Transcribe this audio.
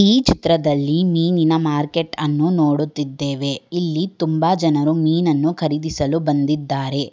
ಈ ಚಿತ್ರದಲ್ಲಿ ಮೀನಿನ ಮಾರ್ಕೆಟ್ ಅನ್ನು ನೋಡುತ್ತಿದ್ದೇವೆ ಇಲ್ಲಿ ತುಂಬ ಜನರು ಮೀನನ್ನು ಖರೀದಿಸಲು ಬಂದಿದ್ದಾರೆ.